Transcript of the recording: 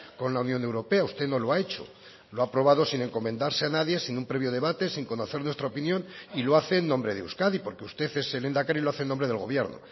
con la unión europea usted no lo ha hecho lo ha aprobado sin encomendarse a nadie sin un previo debate sin conocer nuestra opinión y lo hace en nombre de euskadi porque usted es el lehendakari y lo hace en nombre del gobierno